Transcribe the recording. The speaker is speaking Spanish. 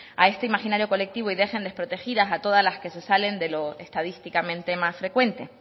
a este imaginario colectivo y dejen desprotegidas a todas las que se salen de lo estadísticamente más frecuente